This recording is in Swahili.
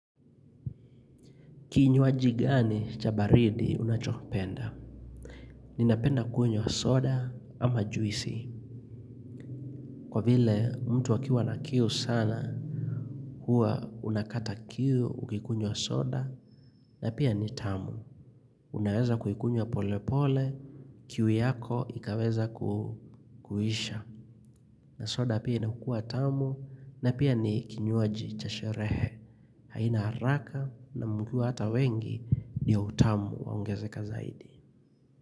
Kinywaji gani cha baridi unachokipenda? Ninapenda kwenywa wa soda ama juisi. Kwa vile mtu akiwa na kiu sana hua unakata kiu ukikunywa soda na pia ni tamu. Unaweza kuikunywa wa pole pole, kiu yako ikaweza kuisha. Na soda pia inakua tamu na pia ni kinywaji cha sherehe. Haina haraka na mkiwa na hata wengi ni utamu wa uongezeka zaidi.